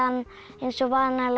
eins og vanalega